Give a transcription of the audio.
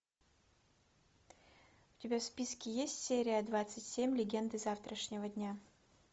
у тебя в списке есть серия двадцать семь легенды завтрашнего дня